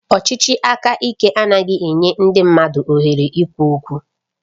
Ọchịchị aka ike adịghị enye ndị mmadụ ohere ikwu okwu